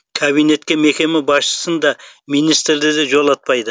кабинетке мекеме басшысын да министрді де жолатпайды